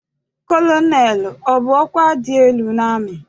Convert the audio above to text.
Kọlọnelụ abụ ọkwa dị elu n'amị?